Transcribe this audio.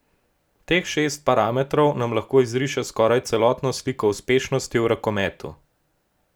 Teh šest parametrov nam lahko izriše skoraj celotno sliko uspešnosti v rokometu.